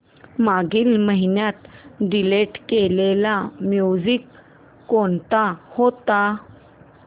मागील महिन्यात डिलीट केलेल्या मूवीझ कोणत्या होत्या